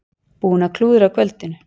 Búin að klúðra kvöldinu.